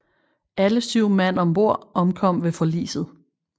Alle syv mand ombord omkom ved forliset